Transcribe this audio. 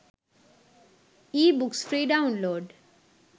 ebooks free download